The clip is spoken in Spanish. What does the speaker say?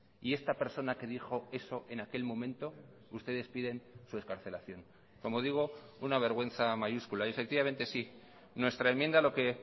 y esta persona que dijo eso en aquel momento ustedes piden su excarcelación como digo una vergüenza mayúscula y efectivamente sí nuestra enmienda lo que